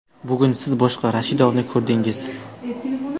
Bugun siz boshqa Rashidovni ko‘rdingiz.